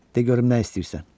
De görüm nə istəyirsən?